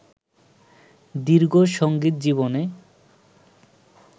দীর্ঘ সঙ্গীত জীবনে